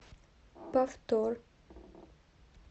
повтор